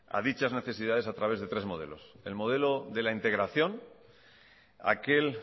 a dichas necesidades a través de tres modelos el modelo de la integración aquel